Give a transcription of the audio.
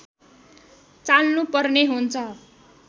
चाल्नु पर्ने हुन्छ